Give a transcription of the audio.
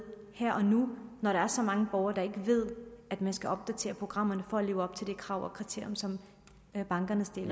her og nu når der er så mange borgere der ikke ved at man skal opdatere programmerne for at leve op til de krav og kriterier som bankerne stiller